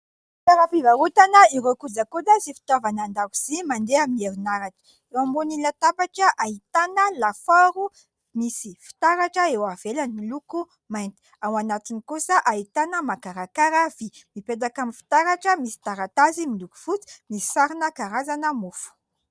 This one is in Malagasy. Toeram-pivarotana ireo kojakoja sy fitaovana an-dakozy mandeha amin'ny herinaratra, eo ambony ny latabatra ahitana lafaoro misy fitaratra eo ivelany miloko mainty ao anatiny kosa ahitana mankarakara vy, mipetaka amin'ny fitaratra misy taratasy miloko fotsy misy sary ny karazana mofo.